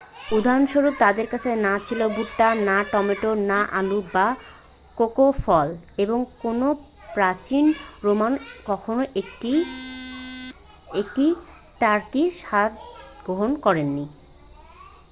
উদাহরণস্বরূপ তাদের কাছে না ছিল ভুট্টা না টমেটো না আলু বা কোকো ফল এবং কোনও প্রাচীন রোমান কখনও একটি টার্কির স্বাদ গ্রহণ করেননি